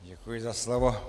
Děkuji za slovo.